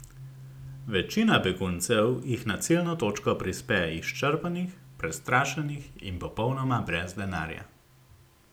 Večina beguncev jih na ciljno točko prispe izčrpanih, prestrašenih in popolnoma brez denarja.